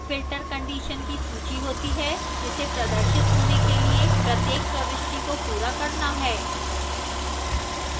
filter conditions की सूची होती है जिसे प्रदर्शित होने के लिए प्रत्येक प्रविष्टि को पूरा करना है